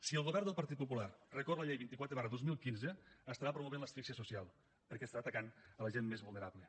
si el govern del partit popular recorre la llei vint quatre dos mil quinze estarà promovent l’asfixia social perquè estarà atacant la gent més vulnerable